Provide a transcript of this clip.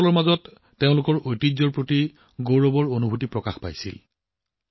যুৱকযুৱতীসকলে নিজৰ ঐতিহ্যক লৈ গৌৰৱৰ ভাৱ দেখুৱালে